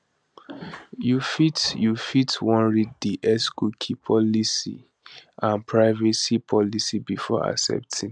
you fit you fit wan read di xcookie policyandprivacy policybefore accepting